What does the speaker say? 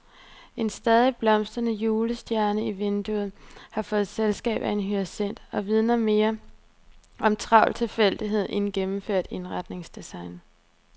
En stadig blomstrende julestjerne i vinduet har fået selskab af en hyacint og vidner mere om travl tilfældighed end gennemført indretningsdesign.